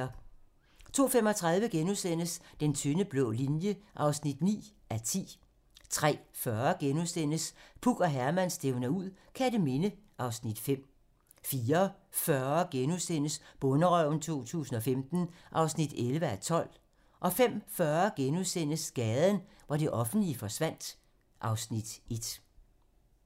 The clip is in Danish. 02:35: Den tynde blå linje (9:10)* 03:40: Puk og Herman stævner ud - Kerteminde (Afs. 5)* 04:40: Bonderøven 2015 (11:12)* 05:40: Gaden, hvor det offentlige forsvandt (Afs. 1)*